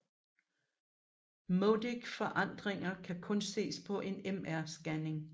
Modic forandringer kan kun ses på en MR scanning